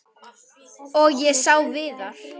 Og ég sá Viðar.